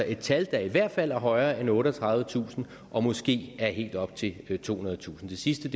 et tal der i hvert fald er højere end otteogtredivetusind og måske er helt op til tohundredetusind det sidste